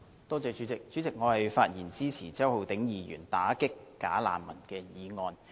代理主席，我發言支持周浩鼎議員提出的"打擊'假難民'"議案。